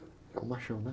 É o machão, né?